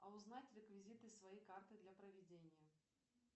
а узнать реквизиты своей карты для проведения